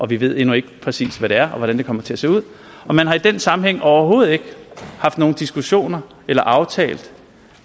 vi ved endnu ikke præcis hvad det er og hvordan det kommer til at se ud og man har i den sammenhæng overhovedet ikke haft nogen diskussioner eller aftalt